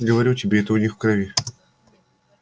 говорю тебе это у них в крови